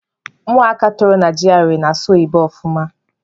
Ụmụaka toro na GRA na-asụ oyibo ọfụma.